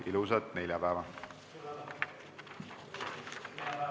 Ilusat neljapäeva!